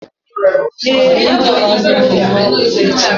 Ee, aga m azụrụ ụmụ m akwụkwọ echi.